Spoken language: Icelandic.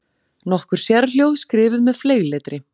Nokkur sérhljóð skrifuð með fleygletri.